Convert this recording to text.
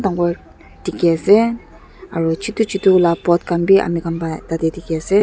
dikhiase aro chutu chutu la pot khan bi ami khan pa tatae dikhiase--